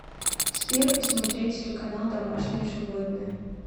сбер посмотреть телеканал домашние животные